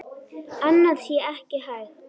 Annað sé ekki hægt.